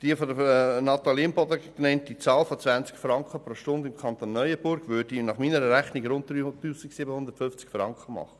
Die von Natalie Imboden genannte Zahl von 20 Franken pro Stunde im Kanton Neuenburg würde nach meiner Rechnung einen Lohn von rund 3750 Franken ergeben.